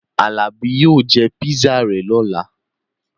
Alabi yóò jẹ pisa rẹ̀ lọ́la